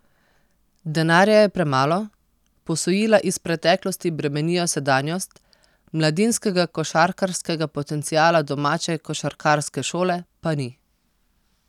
Denarja je premalo, posojila iz preteklosti bremenijo sedanjost, mladinskega košarkarskega potenciala domače košarkarske šole pa ni.